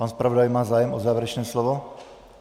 Pan zpravodaj má zájem o závěrečné slovo.